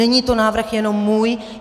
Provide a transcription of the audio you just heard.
Není to návrh jenom můj.